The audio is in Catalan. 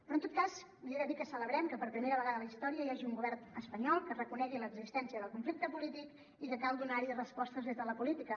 però en tot cas li he de dir que celebrem que per primera vegada a la història hi hagi un govern espanyol que reconegui l’existència del conflicte polític i que cal donar hi respostes des de la política